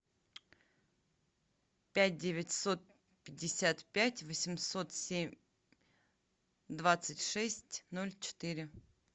пять девятьсот пятьдесят пять восемьсот семь двадцать шесть ноль четыре